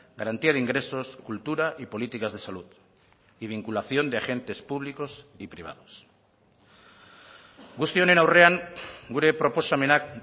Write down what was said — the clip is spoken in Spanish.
garantía de ingresos cultura y políticas de salud y vinculación de agentes públicos y privados guzti honen aurrean gure proposamenak